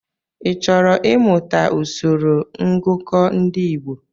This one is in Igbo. Ị chọrọ I mụta usoro ngụkọ ndị Igbo?